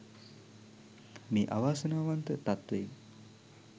මේ අවාසනාවන්ත තත්ත්වයෙන්